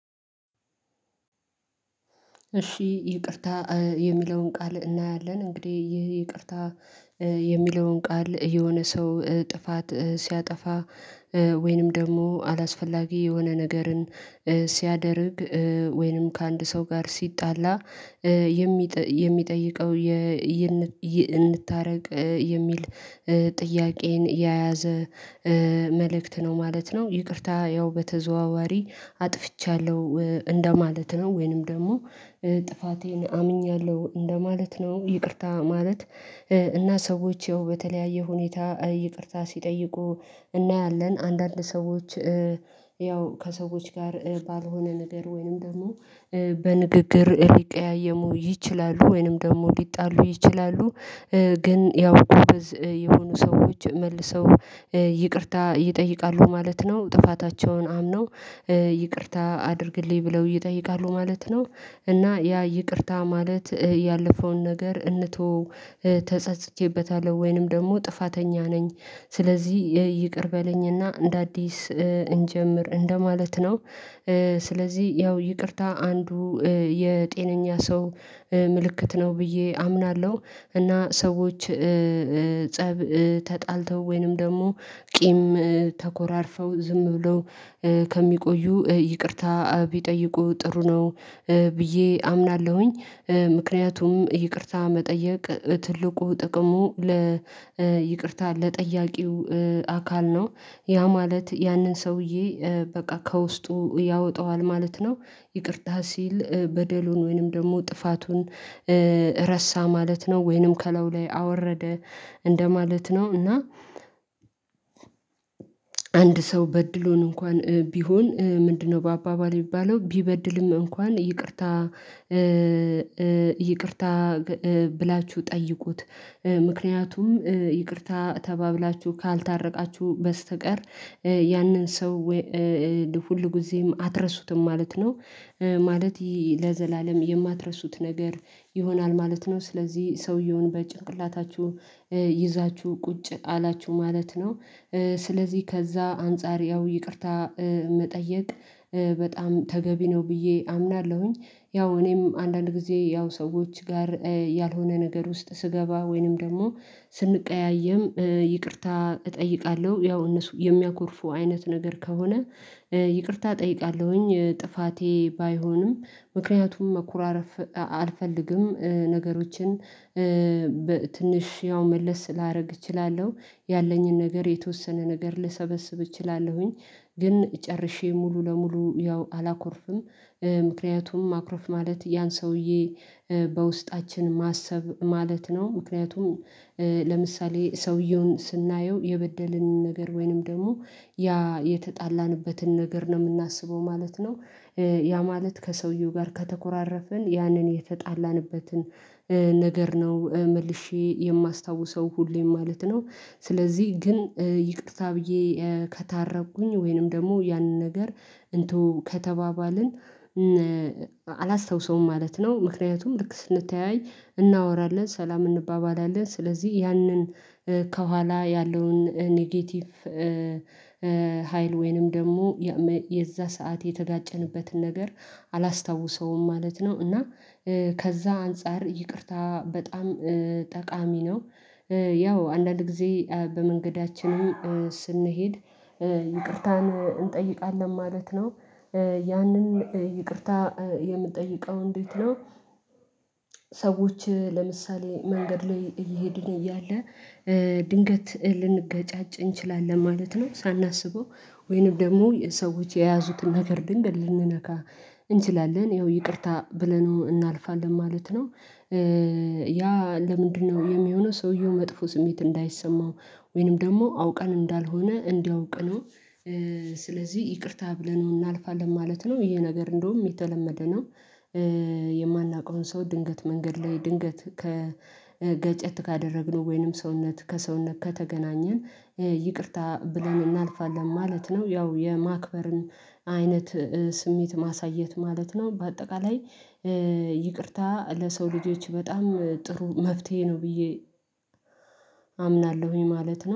እሺ ይቅርታ የሚለውን ቃል እናያለን እንግዲህ ይህ ይቅርታ የሚለውን ቃል የሆነ ሰው ጥፋት ሲያጠፋ ወይንም ደግሞ አላስፈላጊ የሆነ ነገርን ሲያደርግ ወይንም ከአንድ ሰው ጋር ሲጣላ የሚጠይቀው እንታረቅ የሚል ጥያቄን የያዘ መልእክት ነው ማለት ነው። ይቅርታ ያው በተዘዋዋሪ አጥፍቻለሁ እንደማለት ነው ወይንም ደግሞ ጥፋቴን አምኛለሁ እንደማለት ነው። ይቅርታ ማለት እና ሰዎች ያው በተለያየ ሁኔታ ይቅርታ ሲጠይቁ እናያለን አንዳንድ ሰዎች ያው ከሰዎች ጋር ባልሆነ ነገር ወይንም ደግሞ በንግግር ሊቀያየሙ ይችላሉ ወይንም ደግሞ ሊጣሉ ይችላሉ። ግን ያው ጎበዝ የሆኑ ሰዎች መልሰው ይቅርታ ይጠይቃሉ ማለት ነው ጥፋታቸውን አምነው ይቅርታ አድርግልኝ ብለው ይጠይቃሉ ማለት ነው። እና ያ ይቅርታ ማለት ያለፈውን ነገር እንተወው ተጸጽቼበታለሁ ወይንም ደግሞ ጥፋተኛ ነኝ ስለዚህ ይቅር በለኝ እና እንደ አዲስ እንጀምር እንደማለት ነው። ስለዚህ ያው ይቅርታ አንዱ የጤነኛ ሰው ምልክት ነው ብዬ አምናለሁ እና ሰዎች ፀብ ተጣልተው ወይንም ደግሞ ቂም ተኮራርፈው ዝም ብለው ከሚቆዩ ይቅርታ ቢጠይቁ ጥሩ ነው ብዬ አምናለሁኝ። ምክንያቱም ይቅርታ መጠየቅ ትልቁ ጥቅሙ ለይቅርታ ለጠያቂው አካል ነው ያ ማለት ያንን ሰውዬ በቃ ከውስጡ ያወጣዋል ማለት ነው። ይቅርታ ሲል በደሉን ወይንም ደግሞ ጥፋቱን ረሳ ማለት ነው ወይንም ከላዩ ላይ አወረደ እንደማለት ነው። እና አንድ ሰው በድሎን እንኳን ቢሆን ምንድነው? በአባባል የሚባለው ቢበድልም እንኳን ይቅርታ ይቅርታ ብላችሁ ጠይቁት ምክንያቱም ይቅርታ ተባብላችሁ ካልታረቃችሁ በስተቀር ያንን ሰው ሁልጊዜም አትረሱትም ማለት ነው ማለት ለዘላለም የማትረሱት ነገር ይሆናል ማለት ነው። ስለዚህ ሰውየውን በጭንቅላታችሁ ይዛችሁ ቁጭ አላችሁ ማለት ነው ስለዚህ ከዛ አንፃር ያው ይቅርታ መጠየቅ በጣም ተገቢ ነው ብዬ አምናለሁኝ። ያው እኔም አንዳንድ ጊዜ ያው ሰዎች ጋር ያልሆነ ነገር ውስጥ ስገባ ወይንም ደግሞ ስንቀያየም ይቅርታ እጠይቃለሁ ያው እነሱ የሚያኮርፉ አይነት ነገር ከሆነ ይቅርታ እጠይቃለሁኝ ጥፋቴ ባይሆንም ምክንያቱም መኮራረፍ አልፈልግም። ነገሮችን ትንሽ ያው መለስ ላደርግ እችላለሁ ያለኝን ነገር የተወሰነ ነገር ልሰበስብ እችላለሁኝ ግን ጨርሼ ሙሉ ለሙሉ ያው አላኮርፍም። ምክንያቱም ማኩረፍ ማለት ያን ሰውዬ በውስጣችን ማሰብ ማለት ነው ምክንያቱም ለምሳሌ ሰውየውን ስናየው የበደልን ነገር ወይንም ደግሞ ያ የተጣላንበትን ነገር ነው የምናስበው ማለት ነው። ያ ማለት ከሰውየው ጋር ከተኮራረፍን ያንን የተጣላንበትን ነገር ነው መልሼ የማስታውሰው ሁሌም ማለት ነው። ስለዚህ ግን ይቅርታ ብዬ ከታረኩኝ ወይንም ደግሞ ያንን ነገር እንተወው ከተባባልን አላስታውሰውም ማለት ነው። ምክንያቱም ልክ ስንተያይ እናወራለን ሰላም እንባባላለን ስለዚህ ያንን ከኋላ ያለውን ኔጌቲቭ ሀይል ወይንም ደግሞ የዛ ሰዓት የተጋጨንበትን ነገር አላስታውሰውም ማለት ነው። እና ከዛ አንፃር ይቅርታ በጣም ጠቃሚ ነው ያው አንዳንድ ጊዜ በመንገዳችንም ስንሄድ ይቅርታን እንጠይቃለን ማለት ነው። ያንን ይቅርታ የምትጠይቀው እንዴት ነው? ሰዎች ለምሳሌ መንገድ ላይ እየሄድን እያለ ድንገት ልንገጫጭ እንችላለን ማለት ነው ሳናስበው ወይንም ደግሞ ሰዎች የያዙትን ነገር ድንገት ልንነካ እንችላለን ያው ይቅርታ ብለነው እናልፋለን ማለት ነው። ያ ለምንድነው የሚሆነው ሰውየው መጥፎ ስሜት እንዳይሰማው ወይንም ደግሞ አውቀን እንዳልሆነ እንዲያውቅ ነው። ስለዚህ ይቅርታ ብለነው እናልፋለን ማለት ነው ይሄ ነገር እንደውም የተለመደ ነው። የማናውቀውን ሰው ድንገት መንገድ ላይ ድንገት ከገጨት ካደረግነው ወይንም ሰውነት ከሰውነት ከተገናኘ ይቅርታ ብለን እናልፋለን ማለት ነው። ያው የማክበርን አይነት ስሜት ማሳየት ማለት ነው። በአጠቃላይ ይቅርታ ለሰው ልጆች በጣም ጥሩ መፍትሄ ነው ብዬ አምናለሁኝ ማለት ነው